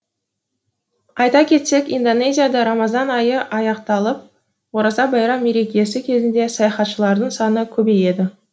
айта кетсек индонезияда рамазан айы аяқталып ораза байрам мерекесі кезінде саяхатшылардың саны көбейеді